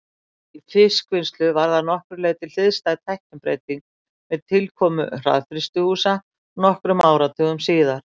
Í fiskvinnslu varð að nokkru leyti hliðstæð tæknibreyting með tilkomu hraðfrystihúsa nokkrum áratugum síðar.